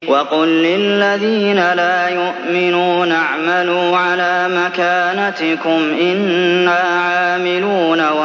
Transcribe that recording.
وَقُل لِّلَّذِينَ لَا يُؤْمِنُونَ اعْمَلُوا عَلَىٰ مَكَانَتِكُمْ إِنَّا عَامِلُونَ